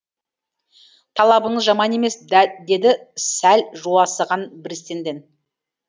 талабыңыз жаман емес деді сәл жуасыған бриссенден